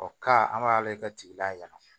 ka an b'a lajɛ ka tigi layɛ